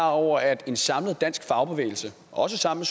over at en samlet dansk fagbevægelse også sammen